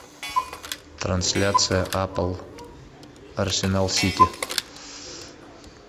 трансляция апл арсенал сити